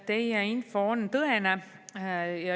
Teie info on tõene.